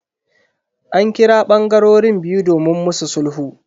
An kira bangarorin biyu domin musu sulhu.